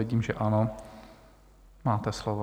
Vidím, že ano, máte slovo.